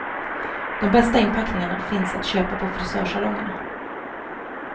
De bästa inpackningarna finns att köpa på frisörsalongerna.